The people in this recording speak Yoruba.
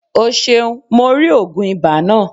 O seun. Mo ri ogun iba naa.